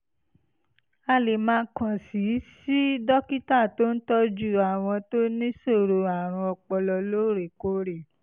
a lè máa kàn sí sí dókítà tó ń tọ́jú àwọn tó níṣòro àrùn ọpọlọ lóòrèkóòrè